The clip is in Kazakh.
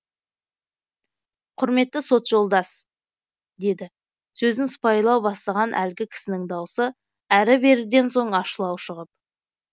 құрметті сот жолдас деді сөзін сыпайылау бастаған әлгі кісінің даусы әрі беріден соң ащылау шығып